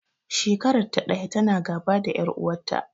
Shekarar ta ɗaya ta na gaba da ƴar uwar ta